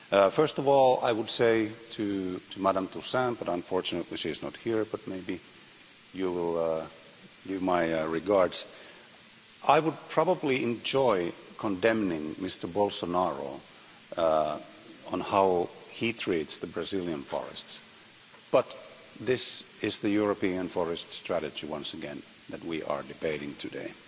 First of all, I would say to Ms Toussaint unfortunately she is not here, but maybe you will give my regards that I would probably enjoy condemning Mr Bolsonaro on how he treats the Brazilian forests, but this is the European forests strategy, once again, that we are debating today.